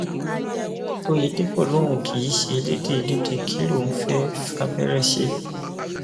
òyedèpọ lòun kì í ṣe ẹlẹdẹ ẹlẹdẹ kí lòun fẹẹ fàbẹrẹ ṣe